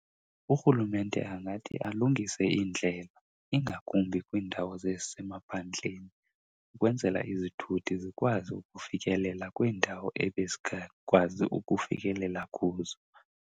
Urhulumente angathi alungise iindlela, ingakumbi kwiindawo zasemaphandleni, ukwenzela izithuthi zikwazi ukufikelela kwiindawo ebezingakwazi ukufikelela kuzo.